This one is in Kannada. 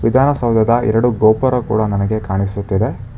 ವಿಧಾನಸೌದದ ಎರಡು ಗೋಪುರ ಕೂಡ ನನಗೆ ಕಾಣಿಸುತ್ತಿದೆ.